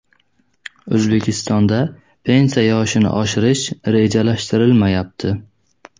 O‘zbekistonda pensiya yoshini oshirish rejalashtirilmayapti.